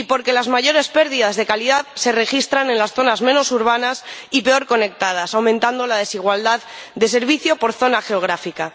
y porque las mayores pérdidas de calidad se registran en las zonas menos urbanas y peor conectadas, lo que aumenta la desigualdad de servicio por zona geográfica.